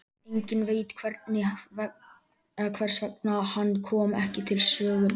Enginn veit hvers vegna hann kom ekki til sögunnar fyrr.